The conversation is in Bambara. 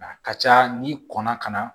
A ka ca n'i kɔnna ka na